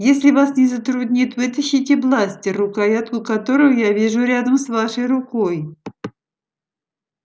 если вас не затруднит вытащите бластер рукоятку которого я вижу рядом с вашей рукой